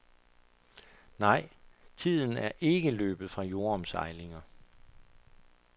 Nej, tiden er ikke løbet fra jordomsejlinger.